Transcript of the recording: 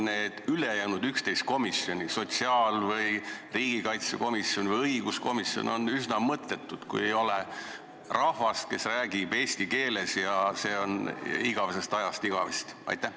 Need ülejäänud 11 komisjoni, sotsiaalkomisjon, riigikaitsekomisjon, õiguskomisjon jt, on üsna mõttetud, kui ei ole rahvast, kes räägib eesti keeles, ja see on nii igavesest ajast igavesti.